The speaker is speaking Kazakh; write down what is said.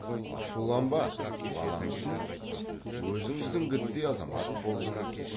ашуланба баламысың өзің зіңгіттей азамат болдың